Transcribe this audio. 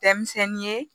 Denmisɛnnin ye